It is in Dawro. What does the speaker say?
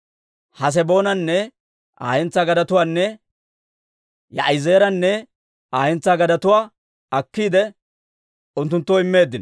Haseboonanne Aa hentsaa gadetuwaanne Yaa'izeeranne Aa hentsaa gadetuwaa akkiide unttunttoo immeeddino.